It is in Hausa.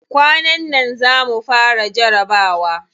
Kwanan nan za mu fara jarabawa.